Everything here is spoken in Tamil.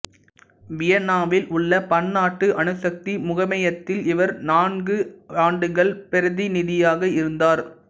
வியன்னாவில் உள்ள பன்னாட்டு அணுசக்தி முகமையத்தில் இவர் நான்கு ஆண்டுகள் பிரதிநிதியாக இருந்தார்